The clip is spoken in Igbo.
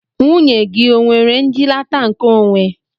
Nwunye gị o nwere njilata nke onwe?